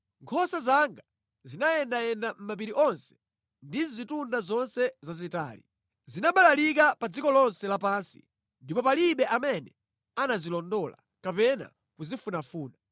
Nkhosa zanga zinayendayenda mʼmapiri onse ndi mʼzitunda zonse zazitali. Zinabalalika pa dziko lonse lapansi, ndipo palibe amene anazilondola kapena kuzifunafuna.